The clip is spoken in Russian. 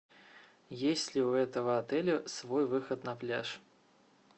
есть ли у этого отеля свой выход на пляж